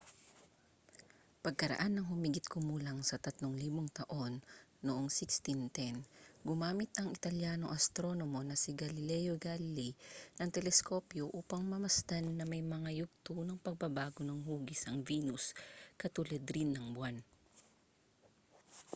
pagkaraan ng humigit-kumulang sa tatlong libong taon noong 1610 gumamit ang italyanong astronomo na si galileo galilei ng teleskopyo upang mamasdan na may mga yugto ng pagbabago ng hugis ang venus katulad rin ng buwan